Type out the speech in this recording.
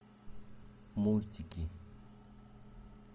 мультики